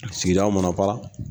Sigidaw mana fara